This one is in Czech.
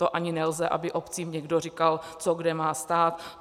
To ani nelze, aby obcím někdo říkal, co kde má stát.